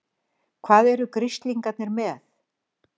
HVAÐ ERU GRISLINGARNIR MEÐ?